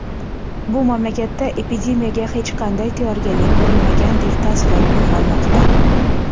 Bu mamlakatda epidemiyaga hech qanday tayyorgarlik ko‘rilmagandek taassurot uyg‘onmoqda.